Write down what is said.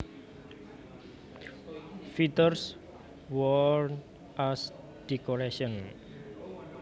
Feathers worn as decoration